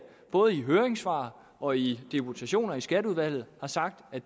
både i høringssvar og i deputationer i skatteudvalget har sagt at